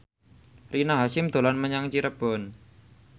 Rina Hasyim dolan menyang Cirebon